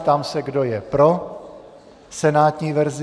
Ptám se, kdo je pro senátní verzi.